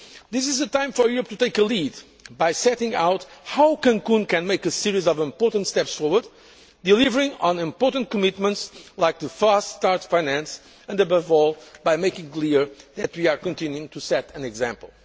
This is a time for Europe to take the lead by setting out how Cancún can make a series of important steps forward, delivering on important commitments like the fast start finance and, above all, by making clear that we are continuing to set an example.